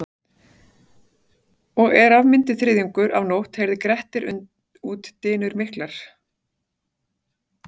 Og er af myndi þriðjungur af nótt heyrði Grettir út dynur miklar.